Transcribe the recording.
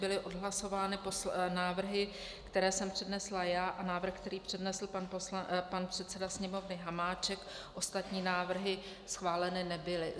Byly odhlasovány návrhy, které jsem přednesla já, a návrh, který přednesl pan předseda Sněmovny Hamáček, ostatní návrhy schváleny nebyly.